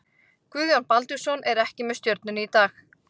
Guðjón Baldvinsson er ekki með Stjörnunni í dag.